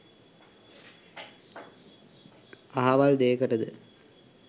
අහවල් දේකටද?